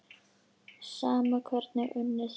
Sama hvernig unnið er.